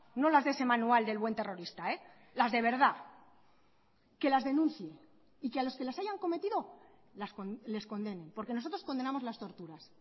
no las de ese manual del buen terrorista las de verdad que las denuncie y que a los que las hayan cometido les condenen porque nosotros condenamos las torturas